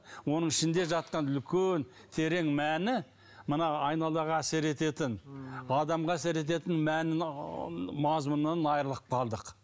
оның ішінде жатқан үлкен терең мәні мына айналаға әсер ететін адамға әсер ететін мәнін мазмұннан айырылып қалдық